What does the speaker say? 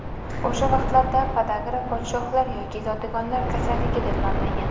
O‘sha vaqtlarda podagra podshohlar yoki zodagonlar kasalligi deb nomlangan.